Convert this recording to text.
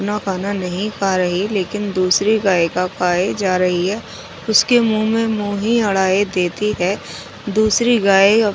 अपना खाना नहीं खा रही लेकिन दूसरी गाय का खाए जा रही है उसके मुंह में मुंह ही अड़ाए देती है दूसरी गाय--